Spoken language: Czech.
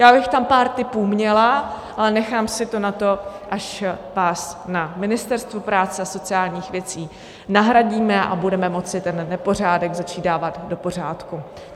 Já bych tam pár tipů měla, ale nechám si to na to, až vás na Ministerstvu práce a sociálních věcí nahradíme a budeme moci ten nepořádek začít dávat do pořádku.